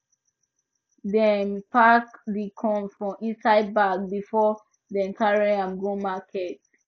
dem pack di corn for inside bag before dem carry am go market